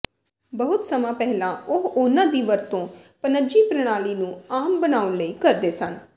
ਬਹੁਤ ਸਮਾਂ ਪਹਿਲਾਂ ਉਹ ਉਨ੍ਹਾਂ ਦੀ ਵਰਤੋਂ ਪਨੱਜੀ ਪ੍ਰਣਾਲੀ ਨੂੰ ਆਮ ਬਣਾਉਣ ਲਈ ਕਰਦੇ ਸਨ